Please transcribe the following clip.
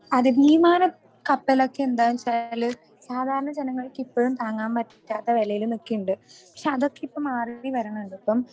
അതെ വിമാനം കപ്പൽ ഒക്കെ എന്താണെന്നു വെച്ചാൽ സാധാരണ ജനങ്ങൾക്കിപ്പോഴും താങ്ങാൻ പറ്റാത്ത വിലയിൽ നിക്കുന്നുണ്ട്. പക്ഷെ അതൊക്കെ ഇപ്പൊ മാറിവരണുണ്ട് ഇപ്പൊ